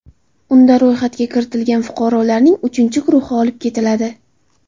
Unda ro‘yxatga kiritilgan fuqarolarning uchinchi guruhi olib ketiladi.